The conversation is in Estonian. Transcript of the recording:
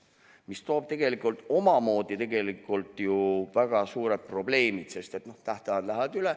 See toob ju tegelikult kaasa omamoodi väga suured probleemid, sest tähtajad lähevad üle.